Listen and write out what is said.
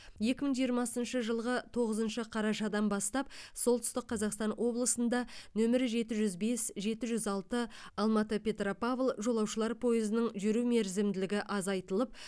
екі мың жиырмасыншы жылғы тоғызыншы қарашадан бастап солтүстік қазақстан облысында нөмірі жеті жүз бес жеті жүз алты алматы петропавл жолаушылар пойызының жүру мерзімділігі азайтылып